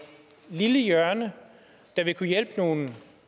lille hjørne der vil kunne hjælpe nogle